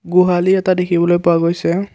গোহালি এটা দেখিবলৈ পোৱা গৈছে।